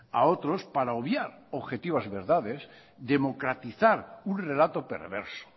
a otros para obviar objetivas verdades democratizar un relato perverso